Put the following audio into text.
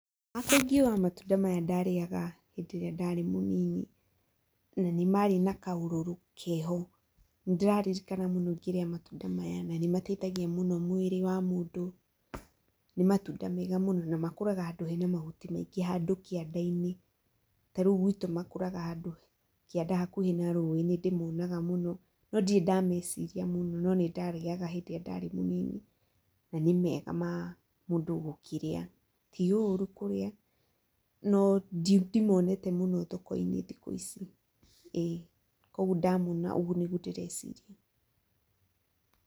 Hakwa ingiuga matunda maya ndarĩaga hĩndĩ ĩrĩa ndarĩ mũnini, na nĩmarĩ na kaũrũrũ keho. Nindĩrarikana mũno ngĩrĩa matunda maya na nĩmateithagia mũno mwĩrĩ wa mũndũ, nĩmatunda mega mũno na makũraga handũ hena mahuti maingĩ handũ kĩandainĩ. Tarĩu gwĩtũ makũraga handũ kĩanda hakuhĩ na rũĩ nĩndĩmonaga mũno, no ndirĩ ndameciria mũno no nĩndamarĩaga hindĩ ĩrĩa ndarĩ mũnini na nĩ mega ma mũndũ gũkĩrĩa ti ũrũ kũrĩa, no ndimonete mũno thokoinĩ thikũ ici. Ĩĩ kwoguo ndamona ũguo nĩguo ndĩreciria.